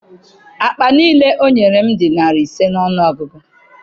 Akpa niile o nyere m dị narị ise n'ọnụ ọgụgụ.